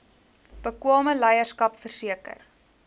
bekwame leierskap verseker